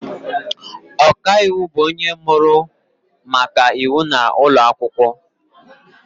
Ọkaiwu bụ onye mụrụ maka iwu n’ụlọ akwụkwọ